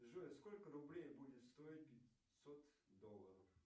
джой сколько рублей будет стоить пятьсот долларов